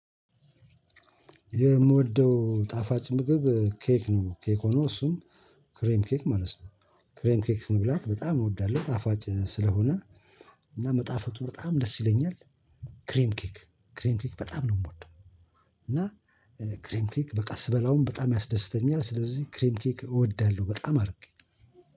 የምወደው ጣፋጭ ምግብ ኬክ ነው። ኬክ ሆኖ እሱም ክሬም ኬክ ማለት ነው። ክሬም ኬክ መብላት በጣም እወዳለሁ ጣፋጭ ስለሆነ እና መጣፈቱ በጣም ደስ ይለኛል። ክሬም ኬክ ክሬም ኬክ በጣም ነው የምወደው፤ እና ክሬም ኬክ በቃ ስበላውም በጣም ያስደስተኛል ስለዚህ ክሬም ኬክ እወዳለሁ በጣም አድርጌ።